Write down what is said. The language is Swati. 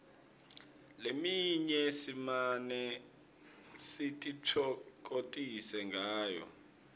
leminye simane sititfokotise ngayo